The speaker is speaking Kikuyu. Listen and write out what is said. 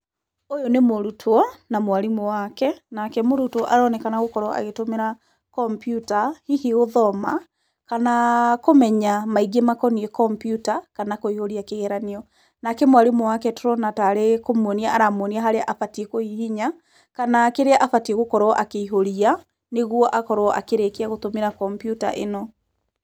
Ũyũ nĩ mũrutwo na mwarimũ wake. Nake mũrutwo aronekana gũkorwo agũtũmĩra kompiuta hihi gũthoma kana kũmenya maingĩ makoniĩ kompiuta kana kũihũria kĩgeranio. Nake mwarimũ wake tũrona tarĩ kũmwonia aramwonia harĩa abatiĩ kũhihinya, kana kĩrĩa abatiĩ gũkorwo akĩihũria nĩguo akorwo akĩrĩkia gũtũmĩra kompiuta ĩno.